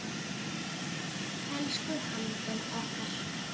Elsku Halldór okkar.